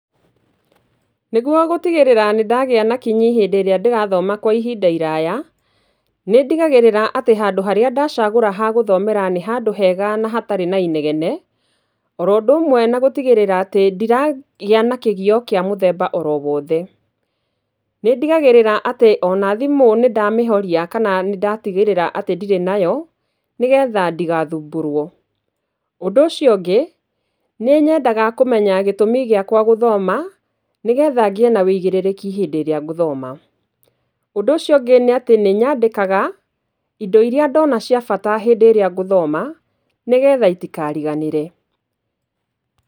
Nĩguo gũtigĩrĩra nĩ ndagĩa na kinyi hĩndĩ ĩrĩa ndĩrathoma kwa ihinda iraya, nĩ ndigagĩrĩra atĩ handũ harĩa ndacagũra ha gũthomera nĩ handũ hega na hatarĩ na inegene. Oro ũndũ ũmwe na gũtigĩrĩra atĩ ndiragĩa na kĩgio kĩa mũthemba oro wothe. Nĩ ndigagĩrĩra ona thimũ nĩ ndamĩhoria kana nĩ ndatigĩrĩra atĩ ndirĩ nayo nĩgetha ndigathumbũrwo. Ũndũ ũcio ũngĩ, nĩ nyendaga kũmenya gĩtũmĩ gĩakwa gũthoma nĩgetha ngĩe na ũigĩrirĩki hĩndĩ ĩrĩa gũthoma. Ũndũ ũcio ũngĩ nĩ nyandĩkaga indo irĩa ndona cia bata hĩndĩ ĩrĩa gũthoma nĩgetha itikariganĩre.